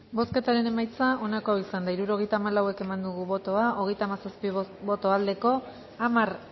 bozketaren emaitza onako izan da hirurogeita hamalau eman dugu bozka hogeita hamazazpi boto aldekoa hamar